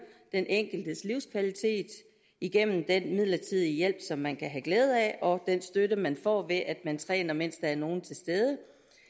den enkeltes livskvalitet igennem den midlertidige hjælp som man kan have glæde af og den støtte man får ved at man træner mens der er nogen til stede